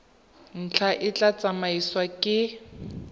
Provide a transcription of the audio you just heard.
ntlha e tla tsamaisiwa ke